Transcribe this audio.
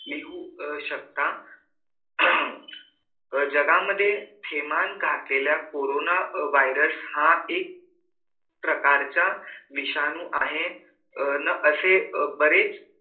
लिहू शकता आह जगामध्ये थैमान घातलेल्या कोरोना virus हा एक प्रकारचा विषाणू आहे अं असे बरेच